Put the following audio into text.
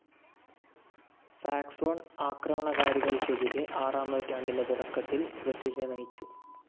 Saxon ആക്രമണകാരികൾക്കെതിരെ ആറാം നൂറ്റാണ്ടിന്റെ തുടക്കത്തിൽ ബ്രിട്ടിഷിനെ നയിച്ചു.